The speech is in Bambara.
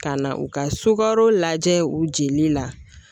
Ka na u ka sukaro lajɛ u jeli la